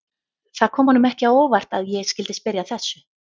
Það kom honum ekki á óvart að ég skyldi spyrja að þessu.